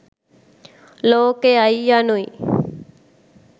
ලෝකයයි, යනු යි.